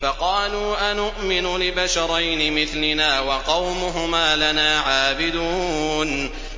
فَقَالُوا أَنُؤْمِنُ لِبَشَرَيْنِ مِثْلِنَا وَقَوْمُهُمَا لَنَا عَابِدُونَ